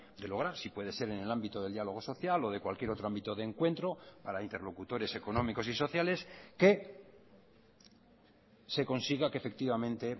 de lograr si puede ser en el ámbito del diálogo social o de cualquier otro ámbito de encuentro para interlocutores económicos y sociales que se consiga que efectivamente